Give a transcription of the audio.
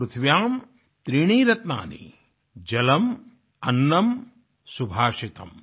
पृथिव्यां त्रीणि रत्नानि जलमन्नं सुभाषितम्